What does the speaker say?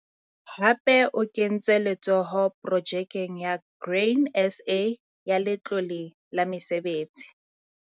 Hape o kentse letsoho Projekeng ya Grain SA ya Letlole la Mesebetsi.